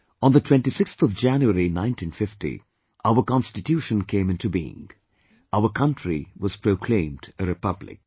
On the 26th of January, 1950, our Constitution came in to being; our Country was proclaimed a Republic